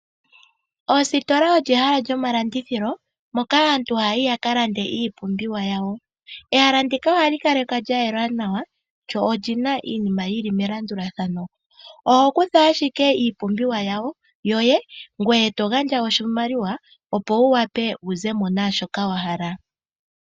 Ositola olyo ehala lyomalandithilo moka aantu haa yi ya ka landa iipumbiwa yawo. Ehala ndika oha li kala lya yela nawa mo omu na iinima yi li melandulathano. Omuntu oho kutha owala iipumbiwa yoye ngoye to gandja oshimaliwa opo wu wape wu zemo naashoka wa hala.